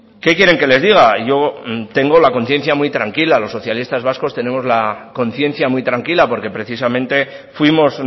qué quieren que les diga yo tengo la conciencia muy tranquila los socialistas vascos tenemos la conciencia muy tranquila porque precisamente fuimos